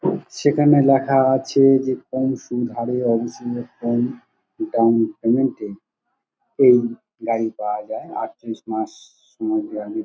সেখানে লেখা যাচ্ছে যে পংসু ধারে অবস্থিত পং ডাউন পেমেন্ট -এ এই গাড়ি পাওয়া যায় | আরতিরিশ মাস সময় দেওয়া--